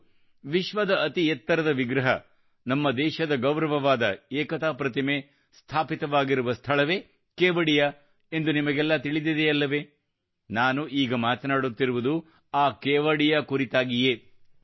ಮತ್ತು ವಿಶ್ವದ ಅತಿ ಎತ್ತರದ ವಿಗ್ರಹ ನಮ್ಮ ದೇಶದ ಗೌರವವಾದ ಏಕತಾ ಪ್ರತಿಮೆ ಸ್ಟಾಚ್ಯೂ ಒಎಫ್ ಯುನಿಟಿ ಸ್ಥಾಪಿತವಾಗಿರುವ ಸ್ಥಳವೇ ಕೇವಡಿಯಾ ಎಂದು ನಿಮಗೆಲ್ಲಾ ತಿಳಿದಿದೆಯಲ್ಲವೇ ನಾನು ಈಗ ಮಾತನಾಡುತ್ತಿರುವುದು ಆ ಕೇವಡಿಯಾಕುರಿತಾಗಿಯೇ